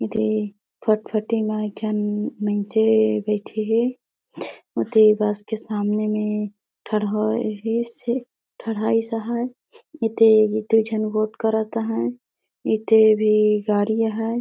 दे फटफटी म एक झन मईनसे बइठे हे ओती बस के सामने में ठड़होइस हे ठड़हाईस आहय इते बीते झन गोठ करत आहय इते भी गाड़ी आहय।